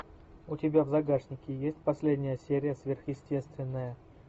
у тебя в загашнике есть последняя серия сверхъестественное